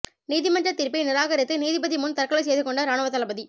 நீதிமன்ற தீர்ப்பை நிராகரித்து நீதிபதி முன் தற்கொலை செய்துகொண்ட ராணுவத் தளபதி